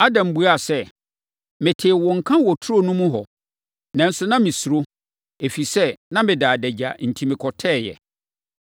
Adam buaa sɛ, “Metee wo nka wɔ turo no mu hɔ, nanso na mesuro, ɛfiri sɛ, na meda adagya enti mekɔtɛeɛ.”